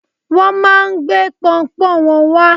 Wọn máà ń gbé pọunpọ́ún wọn wá.